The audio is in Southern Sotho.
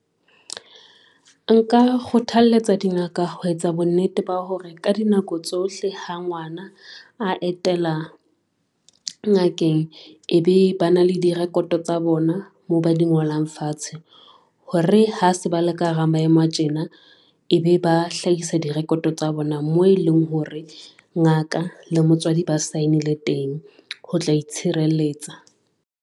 Nka kgothaletsa dingaka ho etsa bonnete ba hore ka dinako tsohle ha ngwana a etela ngakeng. E be ba na le direkoto tsa bona moo ba di ngolang fatshe, hore ha se bale ka hara maemo a tjena, ebe ba hlahisa direkoto tsa bona moo e leng hore ngaka le motswadi ba sign-ile teng ho tla itshireletsa.